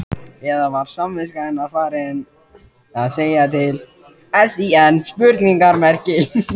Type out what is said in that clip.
Eða var samviska hennar farin að segja til sín?